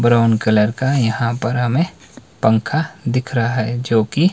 brown colour का यहां पर हमें पंखा दिख रहा है जो कि--